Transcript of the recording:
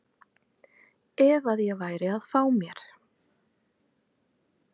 ef að ég væri að fá mér.